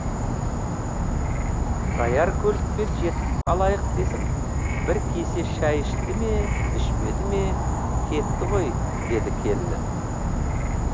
даяр көлікпен жетіп алайық десіп бір кесе шай ішті ме ішпеді ме кетті ғой деді келіні